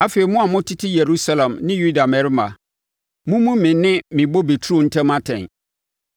“Afei, mo a motete Yerusalem ne Yuda mmarima, mommu me ne me bobe turo ntam atɛn.